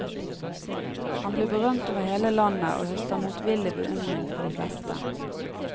Han blir berømt over hele landet og høster motvillig beundring fra de fleste.